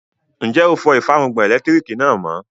Ǹjẹ́ ó fọ ìfárùngbọ̀n ẹlẹ́lẹtiriki náà mọ?